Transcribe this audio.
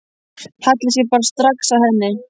Hallaði sér bara strax að henni.